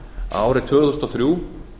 árið tvö þúsund og þrjú